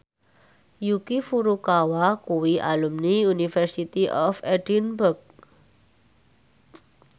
Yuki Furukawa kuwi alumni University of Edinburgh